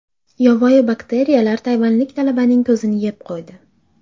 Yovvoyi bakteriyalar tayvanlik talabaning ko‘zini yeb qo‘ydi.